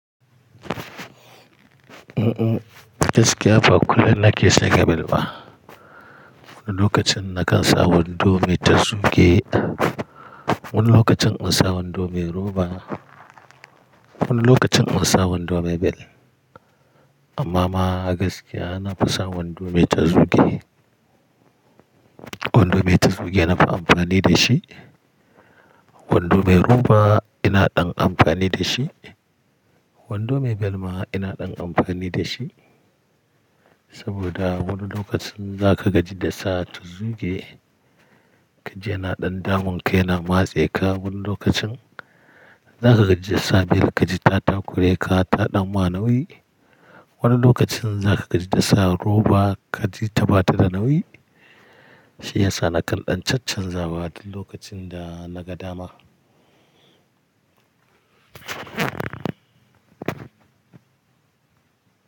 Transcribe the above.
Mm mm gaskiya ba kullum na ke saka bel ba. Wani lokacin na kan sa wando mai tazuge, wani lokacin nakan sa wando mai roba, wani lokacin nakan sa wando mai bel. Amma ma gaskiya na fi sa wando mai tazuge. Wando mai tazuge na fi amfani da shi, wando mai roba ina ɗan amfani da shi, wando mai bel ma ina ɗan amfani da shi. Saboda wani lokacin za ka gaji da sa tazuge, ka ji yana ɗan damunka yana matseka. Wani lokacin za ka gaji da sa bel, ka ji ta takureka, ta ɗan ma nauyi. Wani lokacin za ka gaji da sa roba, ka ji ta bata da nauyi. Shi yasa na kan ɗan chanchanza wa duk lokacin da naga dama.